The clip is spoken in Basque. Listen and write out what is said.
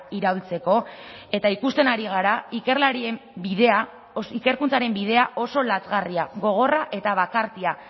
iraultzeko eta ikusten ari gara ikerlarien bidea ikerkuntzaren bidea oso lazgarria gogorra eta bakartia